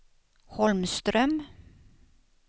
Holmström